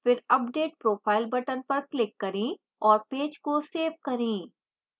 फिर update profile button पर click करें और पेज को सेव करें